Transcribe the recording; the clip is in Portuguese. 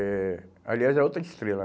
Eh, aliás, é outra estrela.